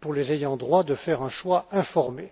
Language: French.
pour les ayants droit de faire un choix informé.